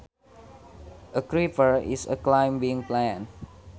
A creeper is a climbing plant